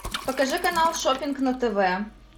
покажи канал шоппинг на тв